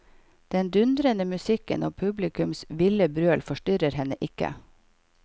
Den dundrende musikken og publikums ville brøl forstyrrer henne ikke.